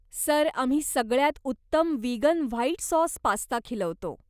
Sir, आम्ही सगळ्यांत उत्तम वीगन व्हाइट सॉस पास्ता खिलवतो.